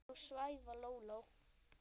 Þú svæfa Lóló